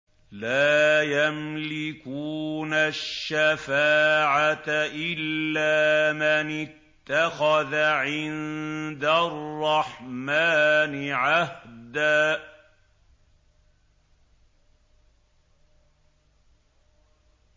لَّا يَمْلِكُونَ الشَّفَاعَةَ إِلَّا مَنِ اتَّخَذَ عِندَ الرَّحْمَٰنِ عَهْدًا